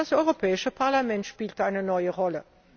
Und das Europäische Parlament spielt eine neue Rolle.